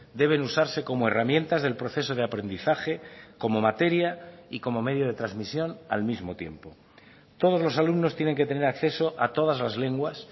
deben usarse como herramientas del proceso de aprendizaje como materia y como medio de transmisión al mismo tiempo todos los alumnos tienen que tener acceso a todas las lenguas